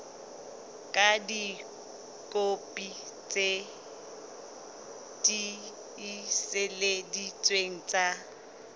ka dikopi tse tiiseleditsweng tsa